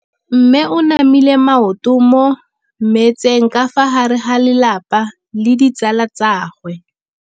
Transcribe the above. Mme o namile maoto mo mmetseng ka fa gare ga lelapa le ditsala tsa gagwe.